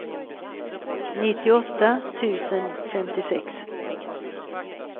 nittioåtta tusen femtiosex